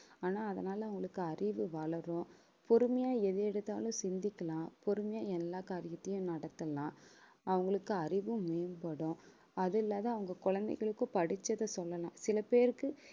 ஆனா அதனால அவங்களுக்கு அறிவு வளரும். பொறுமையா எது எடுத்தாலும் சிந்திக்கலாம். பொறுமையா எல்லா காரியத்தையும் நடத்தலாம். அவங்களுக்கு அறிவும் மேம்படும். அது இல்லாத அவங்க குழந்தைகளுக்கும் படிச்சதை சொல்லலாம். சில பேருக்கு